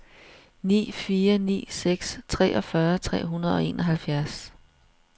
ni fire ni seks treogfyrre tre hundrede og enoghalvfjerds